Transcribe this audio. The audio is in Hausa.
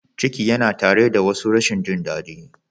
Ciki yana tare da wasu rashin jin daɗi.